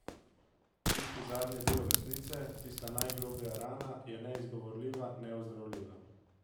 Tisti zadnji del resnice, tista najgloblja rana je bila neizgovorljiva, neozdravljiva.